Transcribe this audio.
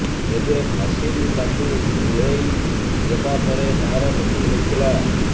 ତେବେ ଫାଶୀରୁ ତାକୁ ଓହ୍ଲାଇଦେବା ପରେ ତାର ମୃତ୍ୟୁ ହୋଇଥିଲା